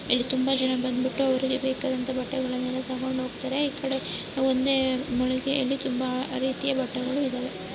ಇಲ್ಲಿ ತುಂಬಾ ಜನ ಬಂದುಬಿಟ್ಟು ಅವರಿಗೆ ಬೇಕಾದಂತ ಬಟ್ಟೆಗಳನ್ನು ತಗೊಂಡುಹೋಗುತ್ತಾರೆ. ಈಕಡೆ ಒಂದೇ ಮಳಿಗೆಯಲ್ಲಿ ತುಂಬಾ ರೀತಿಯ ಬಟ್ಟೆಗಳು ಇದಾವೆ .